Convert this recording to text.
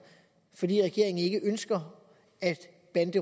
fordi regeringen ikke ønsker at